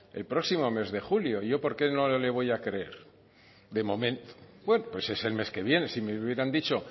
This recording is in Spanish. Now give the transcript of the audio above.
el próximo mes de julio yo por qué no le voy a creer de momento bueno pues es el mes que viene si me hubieran dicho